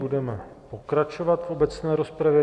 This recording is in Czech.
Budeme pokračovat v obecné rozpravě.